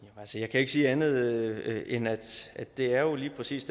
kan ikke sige andet end at det jo lige præcis